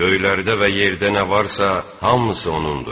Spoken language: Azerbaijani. Göylərdə və yerdə nə varsa, hamısı onunndur.